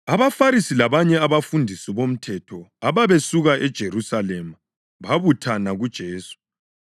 AbaFarisi labanye abafundisi bomthetho ababesuka eJerusalema babuthana kuJesu